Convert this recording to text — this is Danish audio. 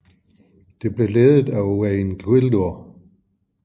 Det blev ledet af Owain Glyndwr